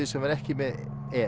sem var ekki með